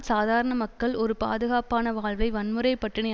சாதாரண மக்கள் ஒரு பாதுகாப்பான வாழ்வை வன்முறை பட்டினி